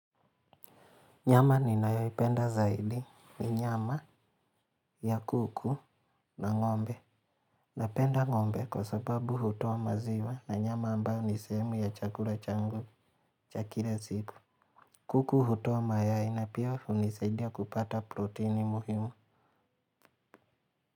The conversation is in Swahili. Nyama ninayoipenda zaidi ni nyama ya kuku na ng'ombe napenda ng'ombe kwa sababu hutoa maziwa na nyama ambayo ni sehemu ya chakula changu cha kila siku. Kuku hutoa mayai na pia hunisaidia kupata proteini muhimu.